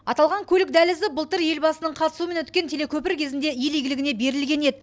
аталған көлік дәлізі былтыр елбасының қатысуымен өткен телекөпір кезінде ел игілігіне берілген еді